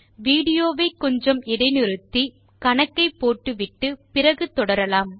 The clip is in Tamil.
வீடியோ வை கொஞ்சம் இடை நிறுத்திவிட்டு கணக்கை போட்டு அப்புறம் தொடரலாம்